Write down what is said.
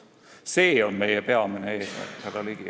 See on meie peamine eesmärk, härra Ligi.